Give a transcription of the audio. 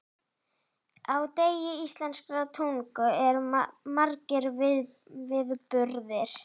Á degi íslenskrar tungu eru margir viðburðir.